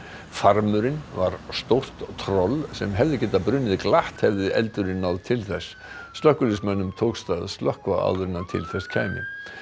farmurinn var stórt troll sem hefði getað brunnið glatt hefði eldurinn náð til þess slökkviliðsmönnum tókst að slökkva áður en til þess kæmi